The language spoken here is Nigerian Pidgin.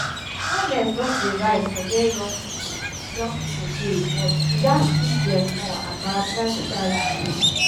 awareness don dey rise for where young pipo young pipo dey but we gats teach dem more about lifestyle diseases.